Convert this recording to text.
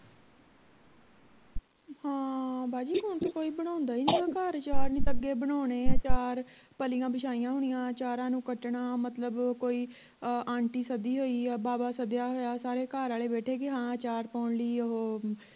ਹਾਂ ਬਾਜੀ ਹੁਣ ਤੇ ਕੋਈ ਬਣਾਉਂਦਾ ਹੀ ਨਹੀਂ ਗਾ ਘਰ ਅਚਾਰ ਨਹੀਂ ਤਾਂ ਅੱਗੇ ਬਣਾਉਣੇ ਅਚਾਰ ਪੱਲੀਆਂ ਬਿਛਾਈਆਂ ਹੁੰਦੀਆਂ ਅਚਾਰਾਂ ਨੂੰ ਕੱਟਣਾ ਮਤਲਬ ਕੋਈ ਆਂਟੀ ਸੱਦੀ ਹੋਈ ਆ ਬਾਵਾ ਸੱਦਿਆ ਹੋਇਆ ਸਾਰੇ ਘਰ ਆਲੇ ਬੈਠੇ ਕੇ ਹਾਂ ਅਚਾਰ ਪਾਉਣ ਲਈ ਓਹੋ